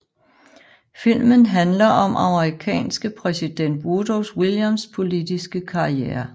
Filmen handler om amerikanske præsident Woodrow Wilsons politiske karriere